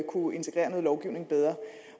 anerkende